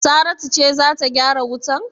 Saratu ce za ta gyara wutan?